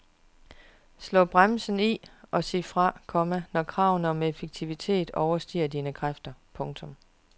Slå bremsen i og sig fra, komma når kravene om effektivitet overstiger dine kræfter. punktum